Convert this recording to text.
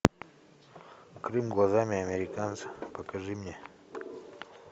крым глазами американца покажи мне